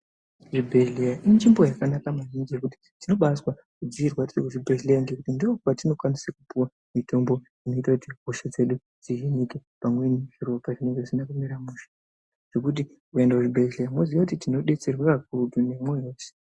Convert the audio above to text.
Zvibhedhleya inzvimbo yakanaka maningi ngekuti tinobazwa kudziirwa tiri kuzvibhedhleya ndopatinokwanise kupuwa mitombo inoita kuti hosha dzedu dzihinike pamweni zviropa zvinenge zvisina kumira mushe zvekuti ukaenda kuzvibhedhleya moziya kuti tinodetserwa kakurutu ere nemwoyo wese.